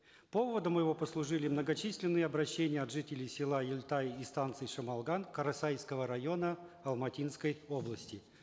поводом его послужили многочисленные обращения от жителей села ельтай и станции шамалган карасайского района алматинской области